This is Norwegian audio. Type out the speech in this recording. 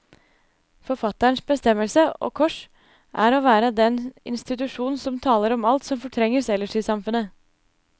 Forfatterens bestemmelse, og kors, er å være den institusjon som taler om alt som fortrenges ellers i samfunnet.